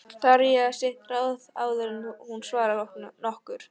Þarf að hugsa sitt ráð áður en hún svarar nokkru.